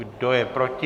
Kdo je proti?